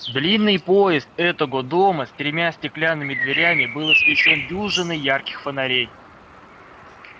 длинный подъезд этого дома с тремя стеклянными дверями был освещён дюжиной ярких фонарей